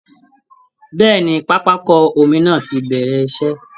Bẹ́ẹ̀ẹ̀ ni, pápákọ omi náà ti bẹ̀rẹ̀ iṣẹ́